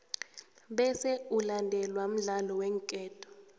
bese ulandelwe mdlalo weenketo